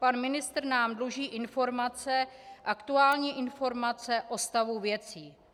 Pan ministr nám dluží informace, aktuální informace o stavu věcí.